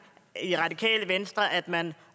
i radikale venstre at man